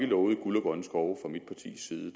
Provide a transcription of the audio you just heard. lovede guld og grønne skove